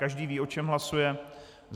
Každý ví, o čem hlasuje?